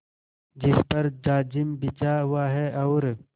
जिस पर जाजिम बिछा हुआ है और